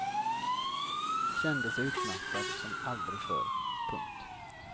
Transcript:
Kände sig utmattad som aldrig förr. punkt